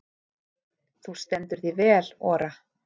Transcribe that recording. Þú stendur þig vel, Ora!